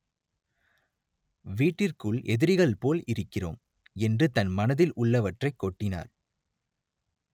வீட்டிற்குள் எதிரிகள் போல் இருக்கிறோம்” என்று தன் மனதில் உள்ளவற்றைக் கொட்டினார்